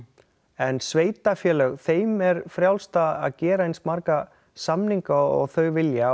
en sveitarfélög þeim er frjálst að gera eins marga samninga og þau vilja